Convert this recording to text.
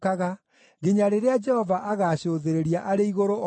nginya rĩrĩa Jehova agaacũthĩrĩria arĩ igũrũ oone.